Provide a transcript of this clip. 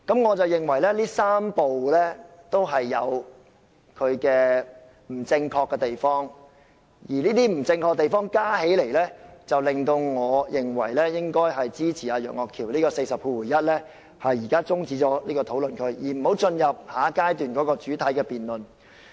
我認為這3步也有各自不正確之處，而這些不正確的地方加起來，令我認為應該支持楊岳橋議員根據第401條提出將辯論中止待續的議案，即有關討論應予中止，不應進入下一階段的主體辯論。